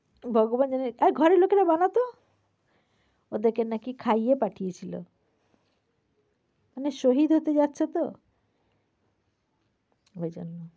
ভগবান জানে আরে ঘরের লোকেরা বানাতো। ওদেরকে নাকি খাইয়ে পাঠিয়েছিল। মানে শহীদ হতে যাচ্ছে তো সেইজন্য।